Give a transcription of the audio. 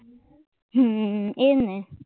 હમ એજ ને